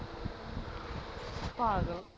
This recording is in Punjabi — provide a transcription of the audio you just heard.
ਪਾਗਲ